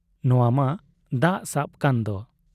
ᱱᱚᱶᱟ ᱢᱟ ᱫᱟᱜ ᱥᱟᱵ ᱠᱟᱱᱫᱚ ᱾